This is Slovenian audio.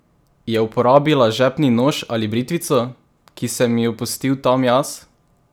Je uporabila žepni nož ali britvico, ki sem jo pustil tam jaz?